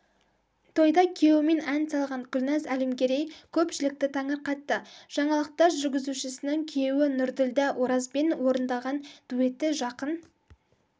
тойда күйеуімен ән салған гүлназ әлімгерей көпшілікті таңырқатты жаңалықтар жүргізушісінің күйеуі нұрділдә оразбен орындаған дуэті жақын